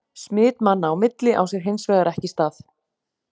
Smit manna á milli á sér hins vegar ekki stað.